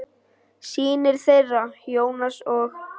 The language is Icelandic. Synir þeirra, Jónas og